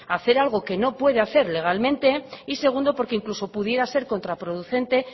a hacer algo que no puede hacer legalmente y segundo porque incluso pudiera ser contraproducente